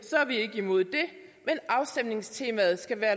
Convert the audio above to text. så er vi ikke imod det men afstemningstemaet skal være